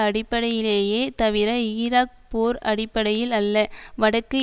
அடிப்படையிலேயே தவிர ஈராக் போர் அடிப்படையில் அல்ல வடக்கு